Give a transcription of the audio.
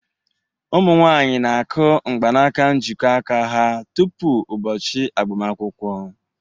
Ụmụ nwanyị na-akụ mgbanaka njikọ aka ha tupu ụbọchị agbamakwụkwọ.